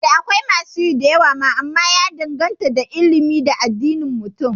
Eh, da akwai masu yi da yawa ma amma ya danganta da addini da al'adun Mutane